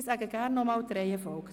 Ich wiederhole die Reihenfolge: